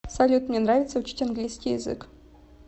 салют мне нравится учить английский язык